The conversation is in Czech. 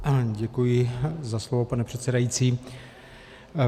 Děkuji za slovo, pane předsedající.